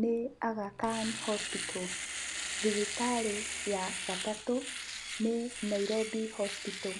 nĩ Aga Khan Hospital, thibitarĩ ya gatatũ, nĩ Nairobi Hospital.